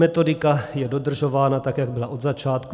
Metodika je dodržována tak, jak byla od začátku.